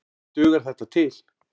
En dugar þetta til?